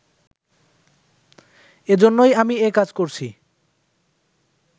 এজন্যই আমি এ কাজ করছি